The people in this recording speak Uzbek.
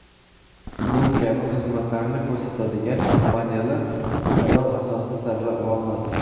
Bu kabi xizmatlarni ko‘rsatadigan kompaniyalar tanlov asosida saralab olinadi.